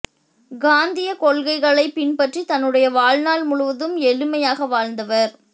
காந்திய கொள்கைகளை பின்பற்றி தன்னுடைய வாழ்நாள் முழுவதும் எளிமையாக வாழ்ந்தவர்